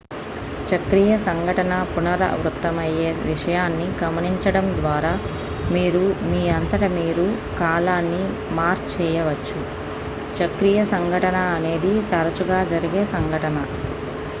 చక్రీయ సంఘటన పునరావృతమయ్యే విషయాన్ని గమనించడం ద్వారా మీరు మీ అంతట మీరు కాలాన్ని మార్క్ చేయవచ్చు చక్రీయ సంఘటన అనేది తరచుగా జరిగే సంఘటన